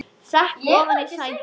Sekk ofan í sætið.